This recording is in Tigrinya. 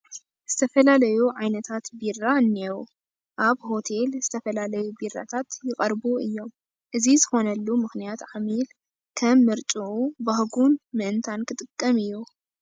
ዝተፈላለዩ ዓይነታት ቢራ እኔዉ፡፡ ኣብ ሆቴል ዝተፈላለዩ ቢራታት ይቐርቡ እዮም፡፡ እዚ ዝኾነሉ ምኽንያት ዓሚል ከም ምርጫኡን ባህጉን ምእንታን ክጥቀም እዩ፡፡